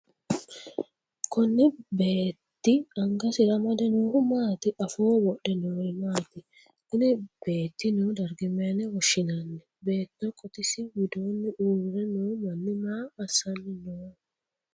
Konni beete angasira amade noohu maati? Afooho wodhe noori maati? Kunni beeti noo darga mayine woshinnanni? Beetto qotisi widoonni uure noo manni maa assanni no?